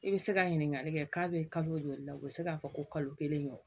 I bɛ se ka ɲininkali kɛ k'a bɛ kalo joli la u bɛ se k'a fɔ ko kalo kelen ɲɔgɔn